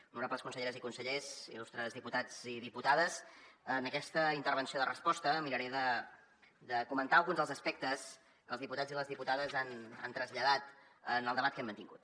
honorables conselleres i consellers il·lustres diputats i diputades en aquesta intervenció de resposta miraré de comentar alguns dels aspectes que els diputats i les diputades han traslladat en el debat que hem mantingut